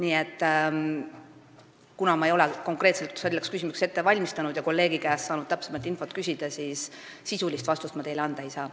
Ja kuna ma ei ole konkreetselt selleks küsimuseks valmistunud ega ole saanud kolleegilt täpsemat infot küsida, siis sisulist vastust ma teile anda ei saa.